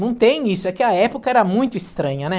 Não tem isso, é que a época era muito estranha, né?